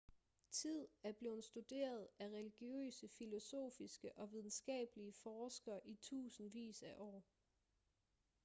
tid er blevet studeret af religiøse filosofiske og videnskabelige forskere i tusindvis af år